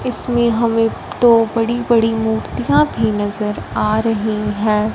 इसमें हमें दो बड़ी-बड़ी मूर्तियां भी नज़र आ रही हैं।